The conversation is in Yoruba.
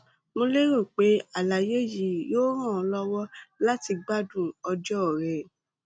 mo lérò pé àlàyé yìí yóò ràn ọ lọwọ láti gbádùn ọjọ rẹ